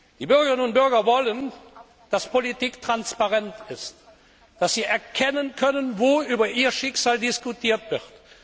Die Bürgerinnen und Bürger wollen, dass Politik transparent ist, dass sie erkennen können, wo über ihr Schicksal diskutiert wird.